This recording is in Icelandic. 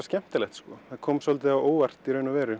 skemmtilegt kom svolítið á óvart í raun og veru